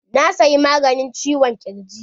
Na siyi maganin ciwon ƙirji.